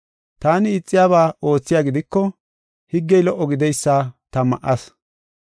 Taani ixiyaba oothiya gidiko, higgey lo77o gideysa ta ma7ayis.